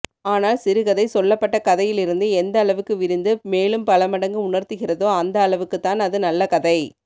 ஆனால் சிறுகதை சொல்லப்பட்ட கதையில் இருந்து எந்த அளவுக்கு விரிந்து மேலும்பலமடங்கு உணர்த்துகிறதோ அந்த அளவுக்குத்தான் அது நல்ல கதை